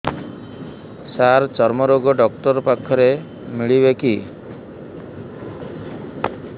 ସାର ଚର୍ମରୋଗ ଡକ୍ଟର ପାଖରେ ମିଳିବେ କି